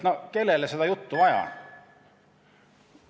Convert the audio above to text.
No kellele seda juttu vaja on?